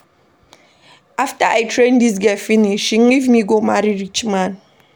After I train dis girl finish, she leave me go marry rich man.